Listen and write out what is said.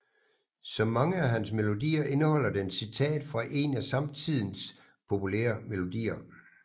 Som mange af hans melodier indeholder den citat fra en af samtidens populære melodier